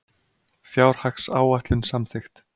Fjárhagsáætlun samþykkt